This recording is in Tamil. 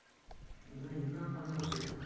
அதான் என்ன பண்றது?